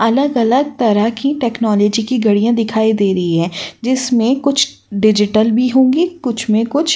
अलग-अलग तरह की टेक्नोलॉजी की घड़ियाँ दिखाई दे रही हैं जिसमें कुछ डिजिटल भी होंगी कुछ में कुछ --